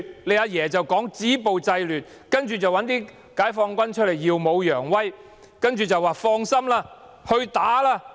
然後，"阿爺"表示要止暴制亂，派解放軍耀武揚威，說道："放心，儘管打吧！